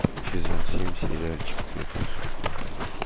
сезон семь сериальчик свет волшебства